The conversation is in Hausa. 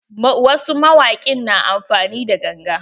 Wasu mawaƙin na amfani da ganga.